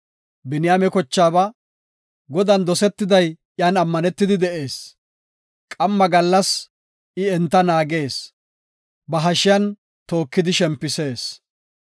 Biniyaame kochaaba, “Godan dosetiday iyan ammanetidi de7ees; qamma gallas I enta naagees; ba hashiyan tookidi shempisees.”